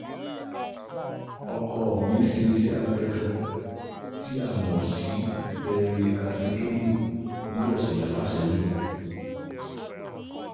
Ọkọ mi ṣe iṣẹ́ abẹ ọkàn tí a mọ̀ sí pẹrikaditomíì ní ọ̀sẹ̀ mẹ́fà sẹ́yìn